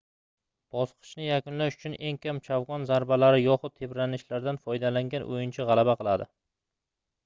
bosqichni yakunlash uchun eng kam chavgon zarbalari yoxud tebranishlaridan foydalangan oʻyinchi gʻalaba qiladi